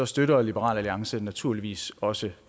støtter liberal alliance naturligvis også